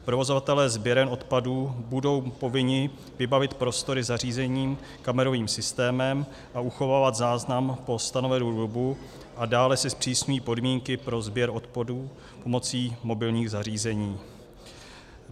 Provozovatelé sběren odpadů budou povinni vybavit prostory zařízením, kamerovým systémem a uchovávat záznam po stanovenou dobu, a dále se zpřísňují podmínky pro sběr odpadů pomocí mobilních zařízení.